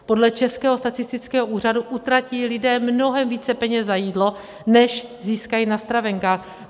Podle Českého statistického úřadu utratí lidé mnohem více peněz za jídlo, než získají na stravenkách.